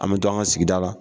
An bɛ to an ka sigida la